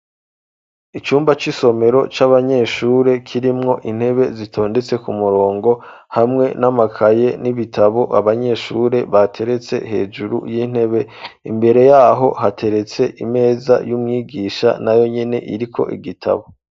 Icumba c'isomero c'abanyeshure kirimwo intebe zitondetse k'umurongo, n'amakaye ,n'ibitabo , abanyeshure bateretse hejuru ku ntebe, imbere yaho hateretse imeza y'umwigisha nayonyene iriko ibitabo.